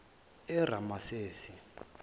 eramasesi